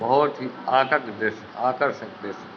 बहोत ही दृश्य आकर्षक दृश्य --